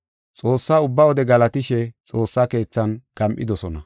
Xoossaa ubbaa wode galatishe xoossa keethan gam7idosona.